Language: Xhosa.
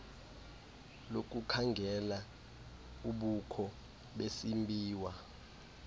lokukhangela ubukho besimbiwa